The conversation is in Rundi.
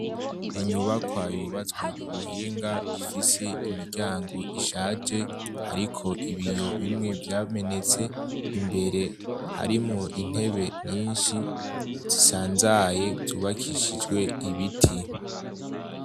Inyubakwa yubatswe ku buhinga ifise imiryango ishaje, hariko ibiyo bimwe vyamenetse, imbere harimwo intebe nyinshi zisanzaye zubakishijwe ibiti.